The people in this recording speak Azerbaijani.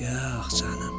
Yax canım.